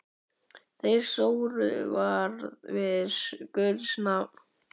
Þeir sóru það við guðs nafn.